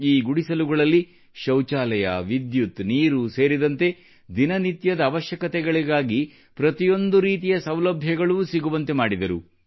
ಈ ಗುಡಿಸಲುಗಳಲ್ಲಿ ಶೌಚಾಲಯ ವಿದ್ಯುತ್ ನೀರು ಸೇರಿದಂತೆ ದಿನನಿತ್ಯದ ಅವಶ್ಯಕತೆಗಳಿಗಾಗಿ ಪ್ರತಿಯೊಂದು ರೀತಿಯ ಸೌಲಭ್ಯಗಳೂ ಸಿಗುವಂತೆ ಮಾಡಿದ್ದರು